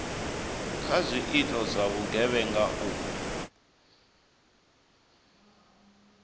kha zwiito zwa vhugevhenga u